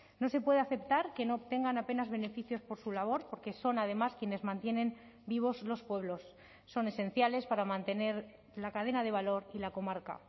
no se puede aceptar que no obtengan apenas beneficios por su labor porque son además quienes mantienen vivos los pueblos son esenciales para mantener la cadena de valor y la comarca